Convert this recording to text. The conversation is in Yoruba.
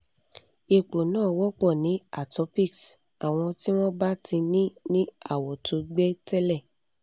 ipo na wopo ni atopics awon ti won ba ti ni ni awo to gbe tele